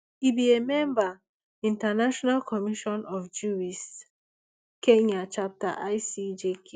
e be a member international commission of jurists kenya chapter icjk